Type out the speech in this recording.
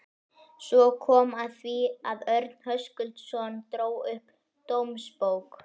Svo kom að því að Örn Höskuldsson dró upp dómsbók